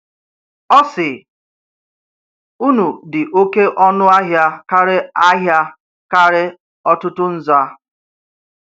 Ọ̀ sị̀: “Ùnù̀ dị oké ọnù̀ ahịa kàrè ahịa kàrè ọ̀tùtù̀ nzà.”